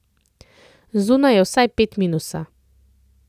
Zunaj je vsaj pet minusa.